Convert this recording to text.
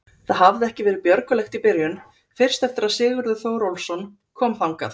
Það hafði ekki verið björgulegt í byrjun, fyrst eftir að Sigurður Þórólfsson kom þangað.